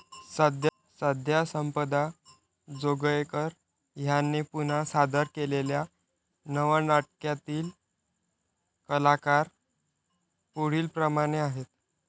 सध्या संपदा जोगळेकर ह्यांनी पुनश्च सादर केलेल्या नव्या नाटकातील कलाकार पुढीलप्रमाणे आहेत.